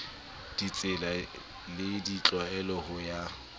ditsela le ditlwaelo ho ya